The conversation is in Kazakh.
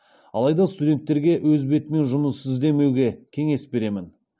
алайда студенттерге өз бетімен жұмыс іздемеуге кеңес беремін